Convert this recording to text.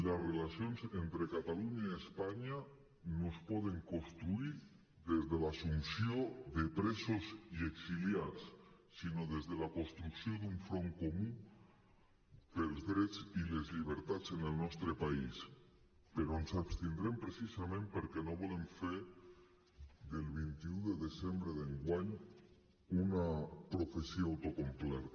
les relacions entre catalunya i espanya no es poden construir des de l’assumpció de presos i exiliats sinó des de la construcció d’un front comú pels drets i les llibertats en el nostre país però ens abstindrem precisament perquè no volem fer del vint un de desembre d’enguany una professió autoacomplerta